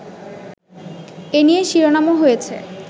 এনিয়ে শিরোনামও হয়েছে